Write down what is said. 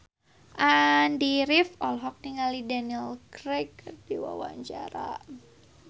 Andy rif olohok ningali Daniel Craig keur diwawancara